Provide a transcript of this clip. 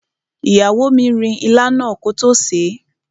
Ìyàwó mi rin ilá náà kótó sèé.